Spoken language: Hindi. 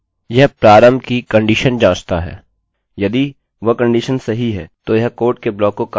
यदि वह कंडीशन सही है तो यह कोड के ब्लाक को कार्यान्वित करेगा और आप इस प्रकार के कार्य कर सकते हैं जैसे echo alpha